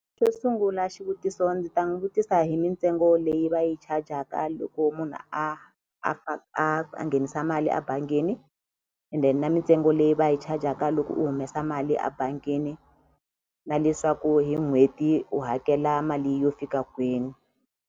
Xo sungula xivutiso ndzi ta n'wi vutisa hi mitsengo leyi va yi chajaka loko munhu a a a nghenisa mali a bangini and then na mitsengo leyi va yi chajaka loko u humesa mali a bangini na leswaku hi n'hweti u hakela mali yo fika kwini.